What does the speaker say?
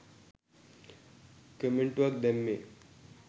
කමෙන්ටුවක් දැම්මේ?